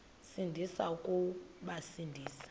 sindisi uya kubasindisa